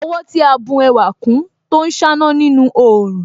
Ọwọ́ tí a bù ẹwà kún Tó ń ṣáná nínú òòrùn